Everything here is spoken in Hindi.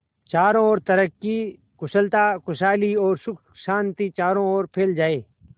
चारों और तरक्की कुशलता खुशहाली और सुख शांति चारों ओर फैल जाए